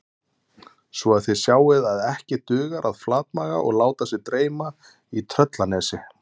Svo að þið sjáið að ekki dugar að flatmaga og láta sig dreyma í Tröllanesi